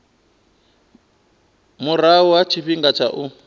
murahu ha tshifhinga tsha u